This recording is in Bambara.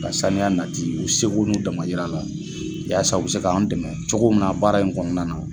Ka sanuya nati u segu n'u dama yira la yasa u bɛ se k'anw dɛmɛ cogo mun na baara in kɔnɔna na.